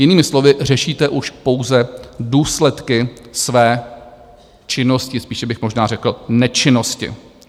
Jinými slovy, řešíte už pouze důsledky své činnosti, spíše bych možná řekl nečinnosti.